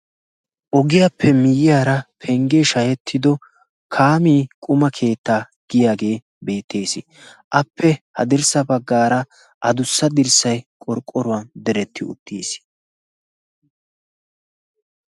Ogiyaappe miyyiyaara penggee shahettido kaami quma keetta giyaagee beettees appe ha dirssa baggaara a dussa dirssai qorqqoruwan deretti uttiis.